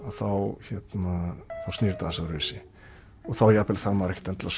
þá snýr þetta aðeins öðruvísi þá þarf maður ekkert endilega